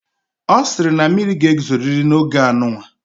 O siri na mmiri ga ezoriri na oge anunwa